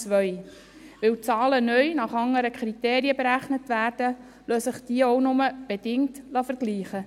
Weil die Zahlen neu nach anderen Kriterien berechnet werden, lassen sich diese auch nur bedingt vergleichen.